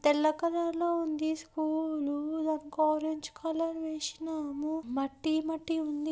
తెల్ల కలర్ లో ఉంది స్కూలు దానికి ఆరంజ్ కలర్ వేశినాము మట్టి మట్టి ఉంది.